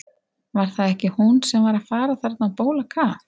Var það ekki hún sem var að fara þarna á bólakaf?